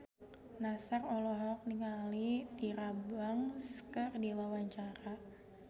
Nassar olohok ningali Tyra Banks keur diwawancara